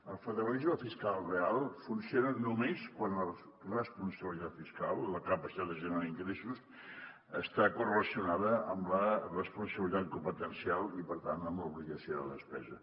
el federalisme fiscal real funciona només quan la responsabilitat fiscal la capa·citat de generar ingressos està correlacionada amb la responsabilitat competencial i per tant amb l’obligació de despesa